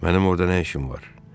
mənim orda nə işim var?